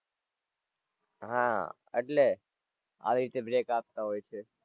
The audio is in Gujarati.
હાં એટલે આવી રીતે break આપતા હોય છે.